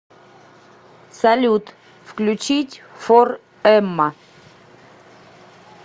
салют включить фор эмма